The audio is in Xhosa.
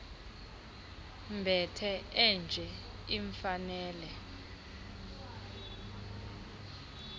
mbethe enje imfanele